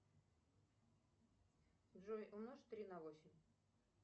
джой умножь три на восемь